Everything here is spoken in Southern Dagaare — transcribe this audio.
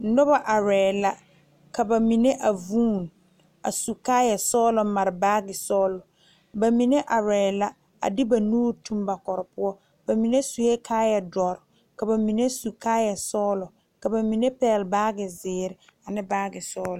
Noba arɛɛ la ka ba mine a vuun a su kaayɛ sɔgelɔ mare baagi sɔgelɔ ba mine arɛɛ la a de ba nuure tuŋ ba kɔre poɔ ba mine sue kaayɛ doɔre ka ba mine su kaayɛ sɔgelɔ ka ba mine pɛgele baagi zeere ane baagi sɔglɔ